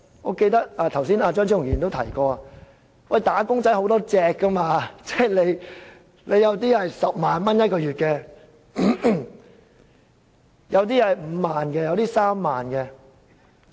我記得剛才張超雄議員也提過，"打工仔"有很多種，有人月薪10萬元，有人月薪5萬元，有人月薪3萬元。